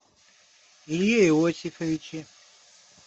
илье иосифовиче